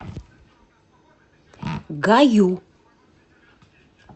гаю